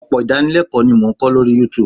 Ọpọ̀ idánilẹ́kọ̀lọ́ ni mo n ko lórí Youtube